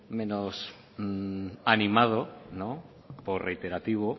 menos animado por reiterativo